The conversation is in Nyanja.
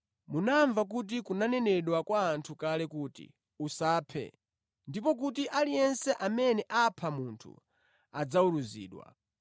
“Munamva kuti kunanenedwa kwa anthu kale kuti, ‘Usaphe ndipo kuti aliyense amene apha munthu adzaweruzidwa.’